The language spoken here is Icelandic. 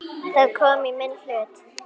Það kom í minn hlut.